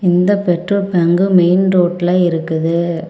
இந்த petrol bunk main ரோட்டில் இருக்குது.